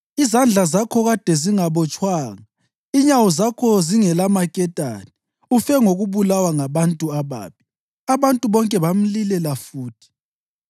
Izandla zakho kade zingabotshwanga, inyawo zakho zingelamaketane. Ufe ngokubulawa ngabantu ababi.” Abantu bonke bamlilela futhi.